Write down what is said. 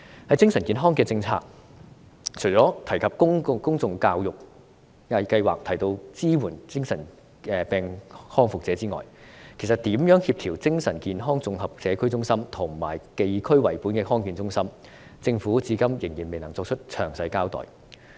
在精神健康政策方面，除了提到推行公眾教育計劃及支援精神病康復者外，如何協調精神健康綜合社區中心，以及地區為本的康健中心，政府至今仍然未能作出詳細交代。